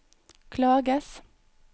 klages